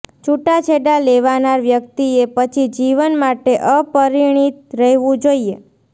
છૂટાછેડા લેવાનાર વ્યક્તિએ પછી જીવન માટે અપરિણીત રહેવું જોઈએ